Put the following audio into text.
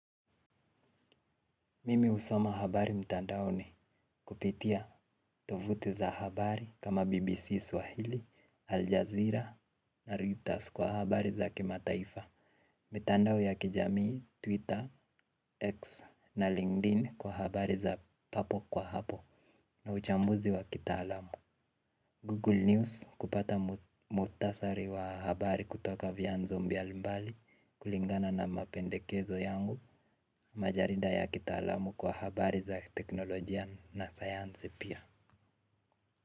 Mimi husoma habari mtandaoni kupitia tovuti za habari kama BBC Swahili, Al-Jazeera na Reuters kwa habari za kima taifa. Mitandao ya kijamii, Twitter, X na LinkedIn kwa habari za papo kwa hapo na uchambuzi wa kitaalamu Google News kupata mutasari wa habari kutoka vyanzo mbiali mbali kulingana na mapendekezo yangu. Majarida ya kitaalamu kwa habari za teknolojia na sayansi pia.